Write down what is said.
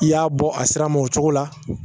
I y'a bɔ a sir'a ma o cogo la